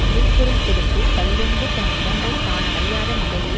விளைப் பொருள் கொடுத்து கள்ளுண்டு தன் உடம்பை தான் அறியாத நிலையை